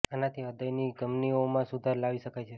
આના થી હ્રદય ની ધમની ઓ મા સુધાર લાવી શકાય છે